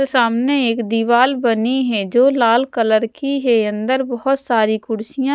सामने एक दीवाल बनीं है जो लाल कलर की है अंदर बहोत सारी कुर्सियां--